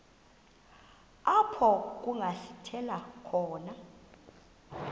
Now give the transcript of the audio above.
apho kungasithela khona